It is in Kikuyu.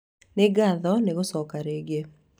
Nĩ ngatho nĩ gũcoka rĩngĩ